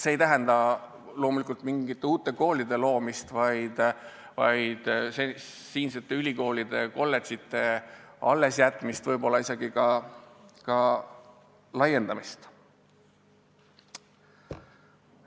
See ei tähenda loomulikult mingite uute koolide loomist, vaid olemasolevate ülikoolide ja kolledžite allesjätmist, võib-olla isegi laiendamist.